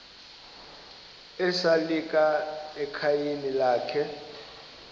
esalika ekhayeni lakhe